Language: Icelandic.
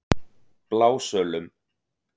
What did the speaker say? Blásölum